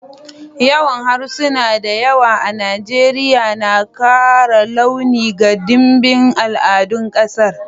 Yawan harsuna da yawa a Najeriya na kara launi ga dimbin al'adun kasar.